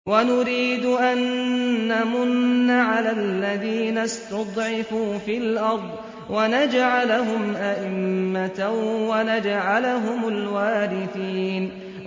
وَنُرِيدُ أَن نَّمُنَّ عَلَى الَّذِينَ اسْتُضْعِفُوا فِي الْأَرْضِ وَنَجْعَلَهُمْ أَئِمَّةً وَنَجْعَلَهُمُ الْوَارِثِينَ